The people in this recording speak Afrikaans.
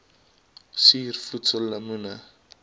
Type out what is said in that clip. suur voedsel lemoene